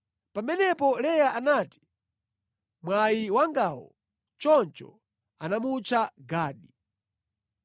Pamenepo Leya anati, “Mwayi wangawo!” Choncho anamutcha Gadi.